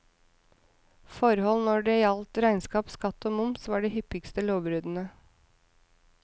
Forhold når det gjaldt regnskap, skatt og moms var de hyppigste lovbruddene.